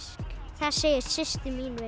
það segir systir mín við